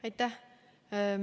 Aitäh!